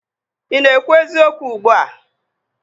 Ị na-ekwu eziokwu ugbua?